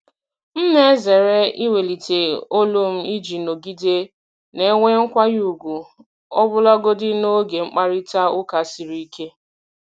M na-ezere iwelite olu m iji nọgide na-enwe nkwanye ùgwù ọbụlagodi n’oge mkparịta ụka siri ike.